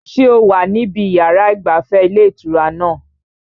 Ṣé o wà níbi yàrá ìgbafẹ́ ilé ìtura náà?